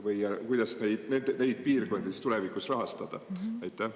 Või kuidas neid piirkondi siis tulevikus rahastada?